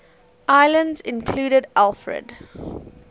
islands included alfred